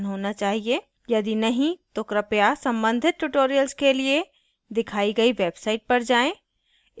यदि नहीं तो कृपया संबंधित tutorials के लिए दिखाई गई website पर जाएँ